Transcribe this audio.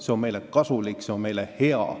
See on meile kasulik, see on meile hea.